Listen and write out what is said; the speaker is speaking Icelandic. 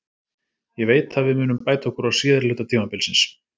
Ég veit að við munum bæta okkur á síðari hluta tímabilsins.